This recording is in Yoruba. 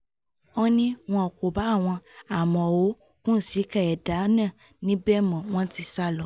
ọ́ ní wọn kò bá àwọn àmọ̀ó kùnsìkà ẹ̀dà náà níbẹ̀ mọ́ wọn ti sá lọ